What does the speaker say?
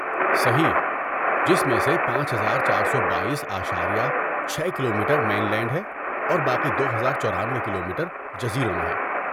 صحیح، جس میں سے پانچ ہزار چار سو بایٔس اشاریہ چھے کلومیٹر مین لینڈ میں ہے اور باقی دو ہزار چورانوۓ کلومیٹر جزیروں میں ہے